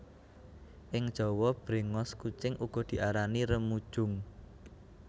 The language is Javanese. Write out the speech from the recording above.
Ing Jawa bréngos kucing uga diarani remujung